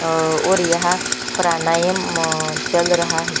और यहाँ प्राणायाम अअअ चल रहा है।